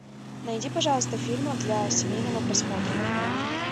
найди пожалуйста фильмов для семейного просмотра